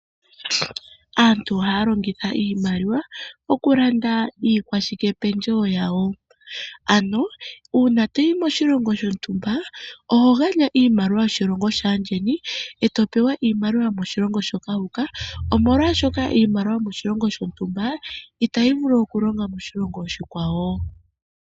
Aantu ohaya longitha iimaliwa okulanda iikwashikependjewo yawo. Uuna to yi moshilongo shontumba oho gandja iimaliwa yoshilongo shaandjeni e to pewa iimaliwa yomoshilongo moka wu uka, omolwashoka iimaliwa yoshilongo shontumba, itayi vulu okulonga moshilongo oshikwawo.